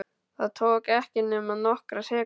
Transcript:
Það tók ekki nema nokkrar sekúndur.